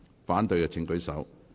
反對的請舉手。